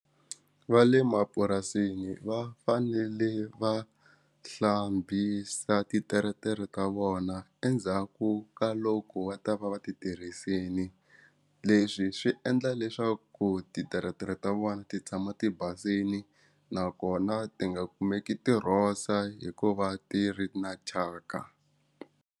Va le mapurasini va fanele va hlambisa titeretere ta vona endzhaku ka loko va ta va va titirhisini leswi swi endla leswaku ti tiretere ta vona ti tshama tibasile nakona ti nga kumeki ti rhosa hikuva ti ri na thyaka.